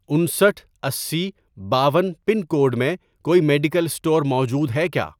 انسٹھ، اسی، باون، پن کوڈ میں کوئی میڈیکل اسٹور موجود ہے کیا؟